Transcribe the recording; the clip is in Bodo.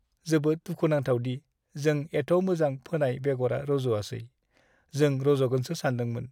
जोबोद दुखुनांथाव दि जों एथ' मोजां फोनाय बेगरा रज'आसै, जों रज'गोनसो सान्दोंमोन।